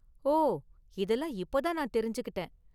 ஓ, இதெல்லாம் இப்ப தான் நான் தெரிஞ்சுக்கிட்டேன்.